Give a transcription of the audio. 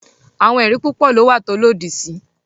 Awọn ẹri pupọ lo wa to lodisi